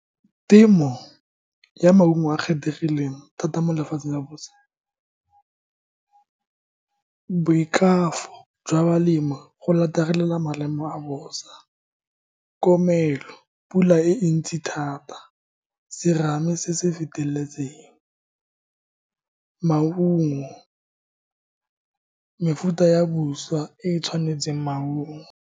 Temo ya maungo a kgethegileng thata mo lefatsheng la bosa, boikago jwa balemi go maemo a bosa, komelo, pula e ntsi thata, serame se se feteletseng, maungo, mefuta ya e tshwanetseng maungo.